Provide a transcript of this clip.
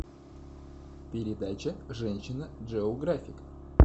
передача женщина джеографик